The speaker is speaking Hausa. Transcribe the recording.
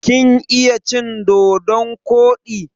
Kin iya cin dodon koɗi?